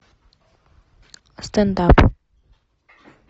стендап